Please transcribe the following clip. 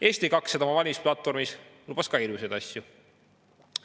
Eesti 200 lubas oma valimisplatvormis ka ilusaid asju.